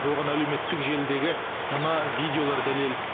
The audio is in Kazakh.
оған әлеуметтік желідегі мына видеолар дәлел